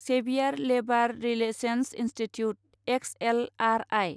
Xavier labour relations institute X L R I